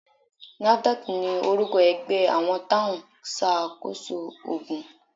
NAFDAC ni orúkọ ẹgbẹ́ àwọn tóun ṣá koso ògùn.